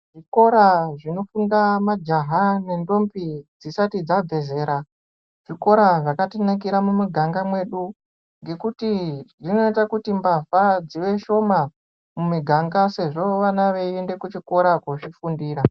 Zvikora zvinofunda majaha nendombi dzisati dzabve zera, zvikora zvakatinakira mumiganga mwedu, ngekuti zvinoite kuti mbavha dzive shoma mumiganga ,sezvo vana veiende kuchikora koozvifundira.